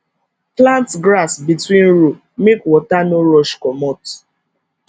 plant grass between row make water no rush comot